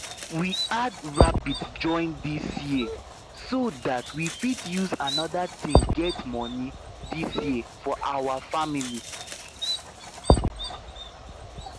we add rabbit join this year so that we fit use another thing get money this year for our family